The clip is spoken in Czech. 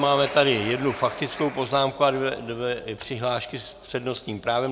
Máme tady jednu faktickou poznámku a dvě přihlášky s přednostním právem.